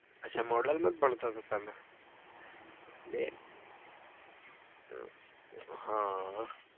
અચ્છા model માં જ ભણતા હતા તમે બે હમ